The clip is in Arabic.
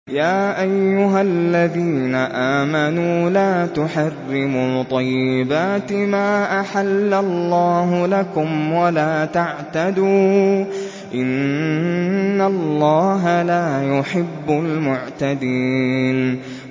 يَا أَيُّهَا الَّذِينَ آمَنُوا لَا تُحَرِّمُوا طَيِّبَاتِ مَا أَحَلَّ اللَّهُ لَكُمْ وَلَا تَعْتَدُوا ۚ إِنَّ اللَّهَ لَا يُحِبُّ الْمُعْتَدِينَ